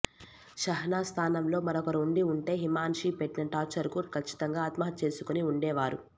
షెహనాజ్ స్థానంలో మరొకరు ఉండి ఉంటే హిమాన్షి పెట్టిన టార్చర్కు కచ్చితంగా ఆత్మహత్య చేసుకుని ఉండేవారు